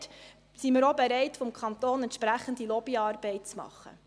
Dort sind wir auch bereit, vom Kanton aus entsprechende Lobbyarbeit zu machen.